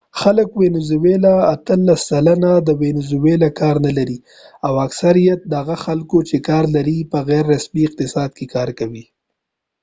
اتلس سلنه د وينزولاvenezuela خلک کار نه لري ، او اکثریت د هغه خلکو چې کار لري په غیر رسمی اقتصاد کې کار کوي